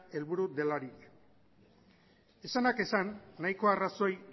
helburu delarik esanak esan nahiko arrazoi